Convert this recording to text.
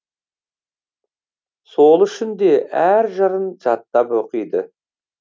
сол үшін де әр жырын жаттап оқиды